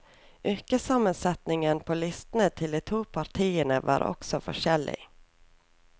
Yrkessammensetningen på listene til de to partiene var også forskjellig.